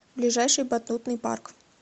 ближайший батутный парк